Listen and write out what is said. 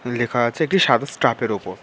লেখা আছে একটি সাদা স্টাফ এর উপর।